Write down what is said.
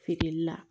Feereli la